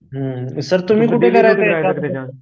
हुं sir तुम्ही कुठे